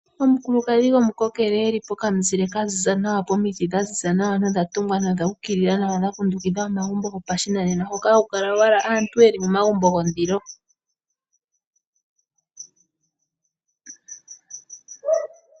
Omukulukadhi gomukokele , eli pokamuzile ka ziza nawa, komiti dhaziza nawa nodha tumwa dha ukilila nawa, dhakundukidha omagumbo gopashinanena hoka haku kala owala aantu yeli momagumbo gondilo.